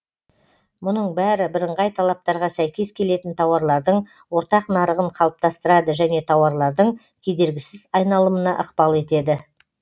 мұның бәрі бірыңғай талаптарға сәйкес келетін тауарлардың ортақ нарығын қалыптастырады және тауарлардың кедергісіз айналымына ықпал етеді